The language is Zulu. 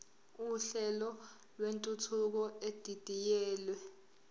uhlelo lwentuthuko edidiyelwe